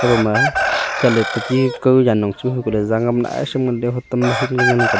ekhaw ma chat ley ti chi ma za ngam naishem ngan ley.